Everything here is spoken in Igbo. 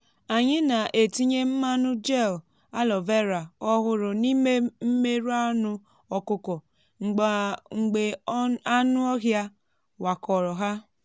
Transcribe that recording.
anyị na-etinye mmanụ gel aloe vera ọhụrụ n’ime mmerụ anụ ọkụkọ mgbe anụ ọhịa wakọrọ ha.